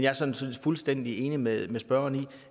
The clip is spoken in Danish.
er sådan set fuldstændig enig med spørgeren i at